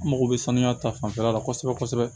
An mago bɛ sanuya ta fanfɛla la kosɛbɛ kosɛbɛ